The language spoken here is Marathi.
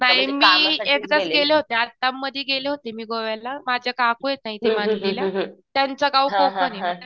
कारण मी एकदाच गेले होते आत्ता मधी गेले होते मी गोव्याला. माझ्या काकू आहेत ना इथे त्यांचं गाव कोकण ये